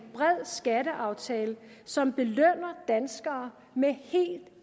bred skatteaftale som belønner danskere med helt